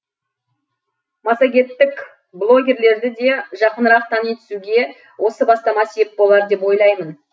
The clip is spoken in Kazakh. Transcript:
массагеттік блогерлерді де жақынырақ тани түсуге осы бастама сеп болар деп ойлаймын